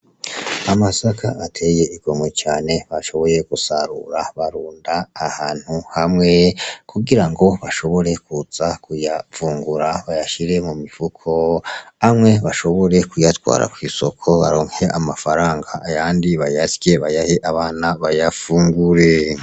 Amasaka ateye igomwe cane bashoboye gusarura barunda ahantu hamwe, kugirango bashobore kuza kuyavungura bayashire mu mifuko, amwe bashobore kuyatwara kw'isoko baronke amafaranga, ayandi bayasye bayahe abana bayafungure.